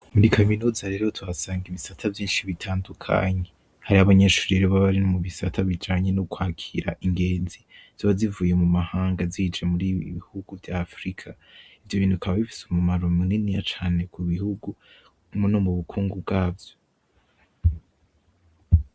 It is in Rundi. Muri kaminuza rero tuhasanga ibisata vyinshi bitandukanye, hariho abanyeshure baba bari mubisata abijanye nukwakira ingenzi ziba zivuye mumahanga zije muribi bihugu vya afurika , ivyo bintu bikaba bifise umumaro muniniya cane ku bihugu no mubukukngu bwavyo .